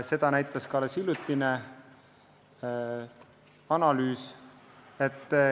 Selle järelduseni jõudis ka üks hiljutine analüüs.